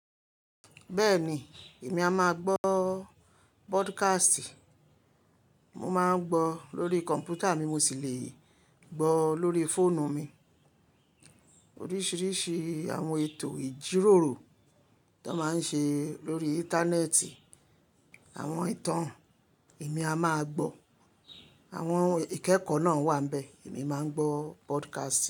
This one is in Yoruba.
Bẹ́ẹ̀ni, èmi a máa gbọ́ podcast. Mo máa ń gbọ́ lórí kọ̀npútà mi, mo sì lè gbọ́ lórí fóònù mi. Oríṣiríṣi àwọn ètò ìjíròrò ta máa ń ṣe lórí Íńtánẹ́ẹ̀tì, àwọn ìtàn èmi a máa gbọ́. Àwọn ìkẹ́kọ̀ọ́ náà wà níbẹ̀, èmi máa ń gbọ́ podcast.